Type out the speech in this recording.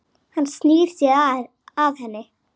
Hann snýr sér að henni.